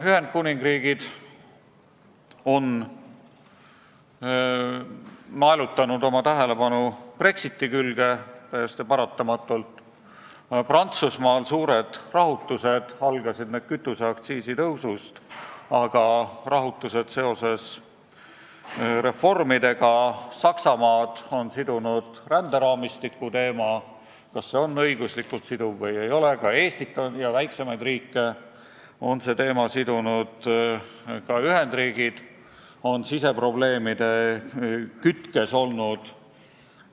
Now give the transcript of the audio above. Ühendkuningriik on naelutanud oma tähelepanu Brexitile, täiesti paratamatult, Prantsusmaal on suured rahutused, algasid need kütuseaktsiisi tõusust, aga need on seotud reformidega, Saksamaad on sidunud ränderaamistiku teema, see, kas see on õiguslikult siduv või ei ole, ka Eestit ja teisi väiksemaid riike on see teema sidunud, ka Ühendriigid on siseprobleemide kütkes olnud.